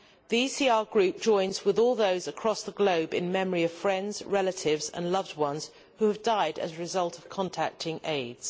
The ECR Group joins with all those across the globe in memory of friends, relatives and loved ones who have died as a result of contracting AIDS.